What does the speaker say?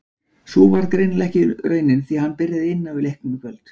Sú varð greinilega ekki raunin því hann byrjaði inn á í leiknum í kvöld.